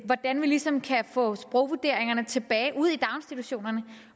hvordan vi ligesom kan få sprogvurderingerne tilbage ud i daginstitutionerne